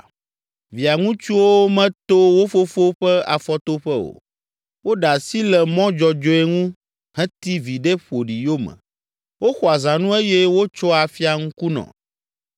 Via ŋutsuwo meto wo fofo ƒe afɔtoƒe o. Woɖe asi le mɔ dzɔdzɔe ŋu, heti viɖe ƒoɖi yome, woxɔa zãnu eye wotsoa afia ŋkunɔ.